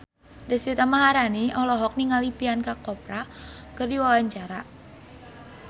Deswita Maharani olohok ningali Priyanka Chopra keur diwawancara